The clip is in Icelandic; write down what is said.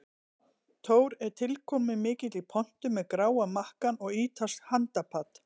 Thor er tilkomumikill í pontu með gráa makkann og ítalskt handapat.